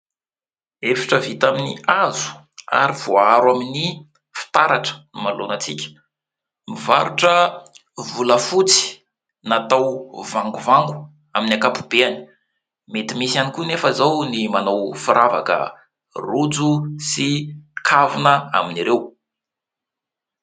Efitra vita amin'ny hazo ary voaharo amin'ny fitaratra no manoloana antsika, mivarotra volafotsy natao vangovango amin'ny ankapobeany, mety misy ihany koa anefa izao ny manao firavaka, rojo sy kavina amin'ireo.